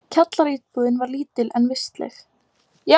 Kjallaraíbúðin var lítil, en vistleg.